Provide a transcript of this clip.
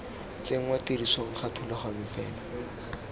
tsenngwa tirisong ga thulaganyo fela